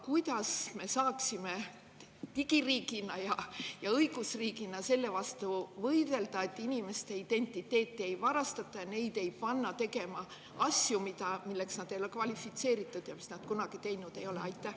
Kuidas me saaksime digiriigina ja õigusriigina võidelda selle vastu, et inimeste identiteeti ei varastataks, neid ei pandaks tegema asju, milleks nad ei ole kvalifitseeritud ja mida nad kunagi teinud ei ole?